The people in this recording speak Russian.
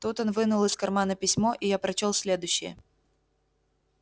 тут он вынул из кармана письмо и я прочёл следующее